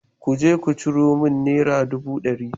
Ku je ku ciro min naira dubu ɗari.